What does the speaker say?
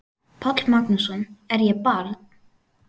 Páll Magnússon: Er ég barn?